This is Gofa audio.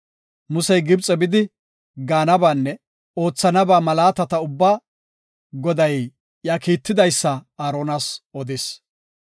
Musey Gibxe bidi gaanabaanne oothana malaatata ubba Goday iya kiitidaysa Aaronas odis.